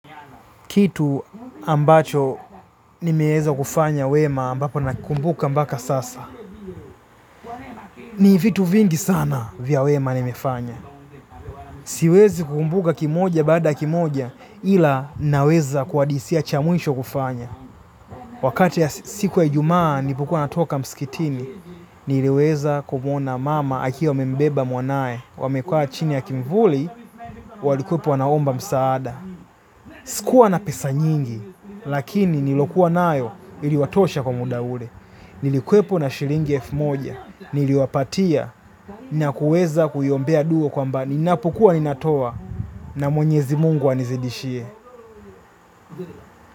Kitu ambacho nimeweza kufanya wema ambapo nakumbuka mpaka sasa. Ni vitu vingi sana vya wema nimefanya. Siwezi kukumbuka kimoja baada ya kimoja ila naweza kuhadithia cha mwisho kufanya. Wakati ya siku ya Ijumaa nilipokua natoka msikitini, niliweza kumwona mama akiwa amembeba mwanaye. Wamekua chini ya kimvuli, walikuwepo wanaomba msaada. Sikuwa na pesa nyingi, lakini nilokuwa nayo iliwatosha kwa muda ule. Nilikuwepo na shilingi elfu moja, niliwapatia na kuweza kuiombea dua kwamba ninapokuwa ninatoa na mwenyezi mungu anizidishie.